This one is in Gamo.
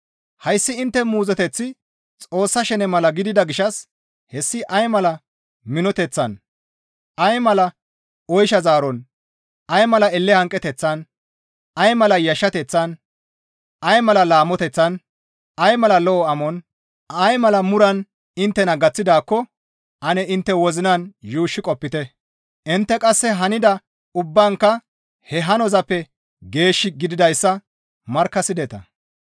Hayssi intte muuzoteththi Xoossa shene mala gidida gishshas hessi ay mala minoteththan, ay mala oysha zaaron, ay mala elle hanqeteththan, ay mala yashshateththan, ay mala laamoteththan, ay mala lo7o amon, ay mala muran inttena gaththidaakko ane intte wozinan yuushshi qopite; intte qasse hanida ubbaankka he hanozappe geesh gididayssa markkasideta.